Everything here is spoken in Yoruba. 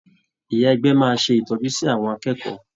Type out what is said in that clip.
Ìyá ẹgbẹ́ máa ṣé ìtọ́jú sí àwọn akẹ́kọ̀ọ́.